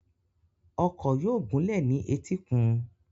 Ọkọ̀ yóò gúnlẹ̀ ní etíkun.